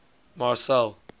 marcel